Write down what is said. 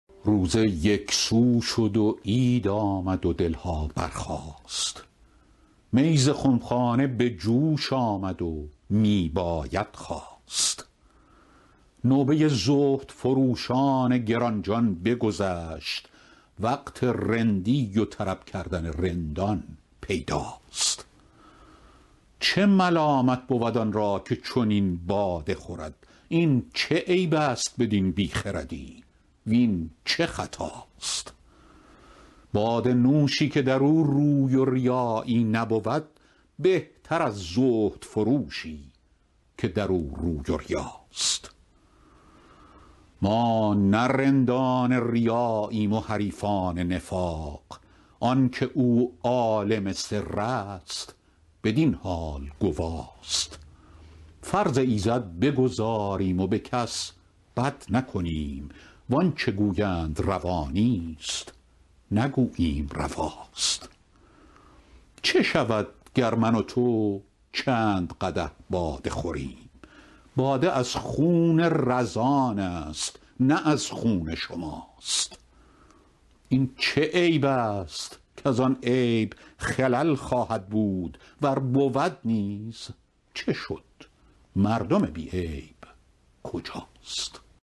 روزه یک سو شد و عید آمد و دل ها برخاست می ز خم خانه به جوش آمد و می باید خواست نوبه زهدفروشان گران جان بگذشت وقت رندی و طرب کردن رندان پیداست چه ملامت بود آن را که چنین باده خورد این چه عیب است بدین بی خردی وین چه خطاست باده نوشی که در او روی و ریایی نبود بهتر از زهدفروشی که در او روی و ریاست ما نه رندان ریاییم و حریفان نفاق آن که او عالم سر است بدین حال گواست فرض ایزد بگزاریم و به کس بد نکنیم وان چه گویند روا نیست نگوییم رواست چه شود گر من و تو چند قدح باده خوریم باده از خون رزان است نه از خون شماست این چه عیب است کز آن عیب خلل خواهد بود ور بود نیز چه شد مردم بی عیب کجاست